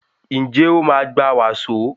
Njé o ma gbà waso?